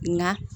Nka